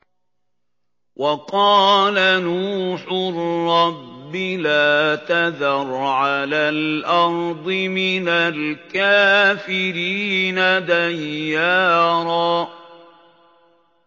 وَقَالَ نُوحٌ رَّبِّ لَا تَذَرْ عَلَى الْأَرْضِ مِنَ الْكَافِرِينَ دَيَّارًا